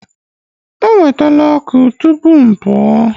Ewetala ọkụ tupu m pụọ.